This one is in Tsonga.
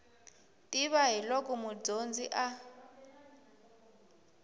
tiva hi loko mudyondzi a